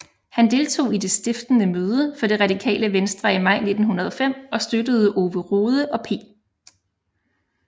Han deltog i det stiftende møde for Det radikale Venstre i maj 1905 og støttede Ove Rode og P